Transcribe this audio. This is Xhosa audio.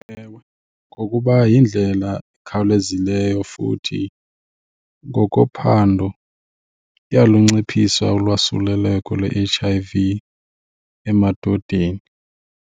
Ewe, ngokuba yindlela ekhawulezileyo futhi ngokophando iyalunciphisa ulwasuleleko lwe-H_I_V emadodeni.